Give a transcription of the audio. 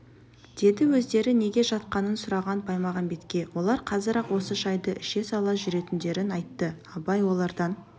деді өздері неге жатқанын сұраған баймағамбетке олар қазір-ақ осы шайды іше сала жүретіндерін айтты абай олардан